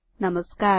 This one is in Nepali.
नमस्कार